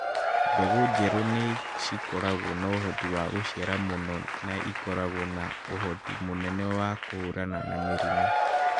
Mbegũ njerũ nĩ cikoragũo na ũhoti wa gũciara mũno na ikoragũo na ũhoti mũnene wa kũhũrana na mĩrimũ.